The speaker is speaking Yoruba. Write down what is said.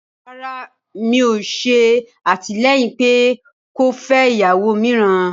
Rárá, ẹmí kíì yòò ṣè àtilẹ̀yin pé o fẹ iyàwó mìráan